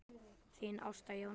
Þín Ásta Jóna.